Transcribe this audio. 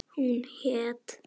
Hún hét